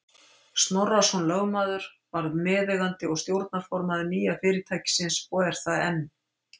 Snorrason lögmaður varð meðeigandi og stjórnarformaður nýja fyrirtækisins og er það enn.